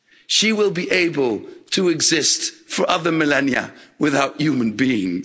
she will be able to exist for other millennia without human beings.